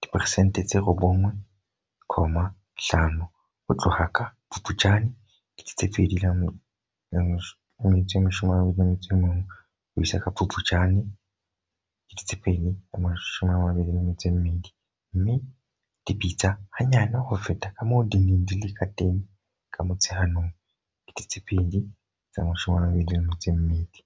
diperesente tse 9.5 ho tloha ka Phuptjane 2021 ho isa ka Phuptjane 2022, mme di bitsa hanyane ho feta kamoo di neng di le kateng ka Motsheanong 2022.